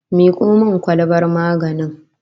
Miko min kwalbar maganin